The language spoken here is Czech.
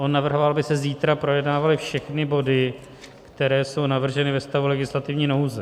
On navrhoval, aby se zítra projednávaly všechny body, které jsou navrženy ve stavu legislativní nouze.